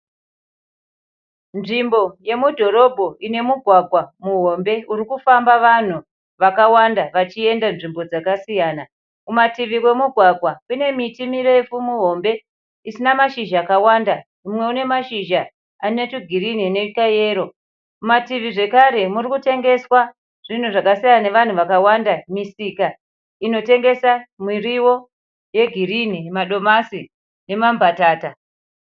Nzvimbo yemudhorobha ine migwagwa mihombe uri kufamba vanhu vakawanda vachienda nzvimbo dzasiyana. Kumativi kwemugwagwa kune miti mirefu mihombe isina mashizha akawanda. Umwe une mashizha ane tugirinhi nekayero. Mumativi zvekare murikutengeswa zvinhu zvakasiyana nevanhu vakawanda misika inotengesa miriwo yegirinhi, madomasi nemambatata.